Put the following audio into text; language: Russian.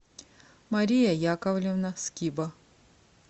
мария яковлевна скиба